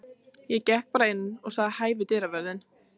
Ég gekk bara inn og sagði hæ við dyravörðinn.